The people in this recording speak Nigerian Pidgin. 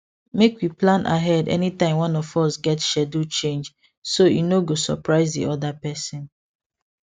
make we plan ahead anytime one of us get schedule change so e no go surprise the other person